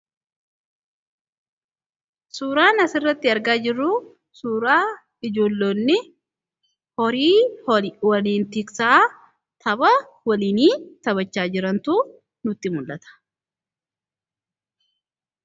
suuraa as irratti argaa jirru suuraa ijoolloonni horii waliin tiksaa tapha waliin taphachaa jirantu nutti mul'ata.